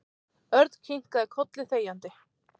Örn kinkaði kolli þegjandi.